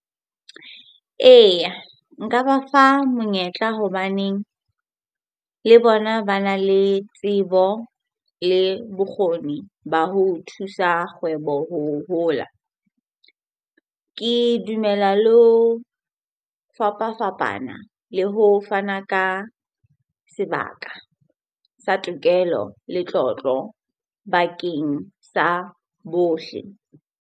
Eya, nka ba fa monyetla hobaneng le bona bana le tsebo le bokgoni ba ho thusa kgwebo ho hola. Ke dumela le ho fapafapana le ho fana ka sebaka sa tokelo, letlotlo bakeng sa bohle.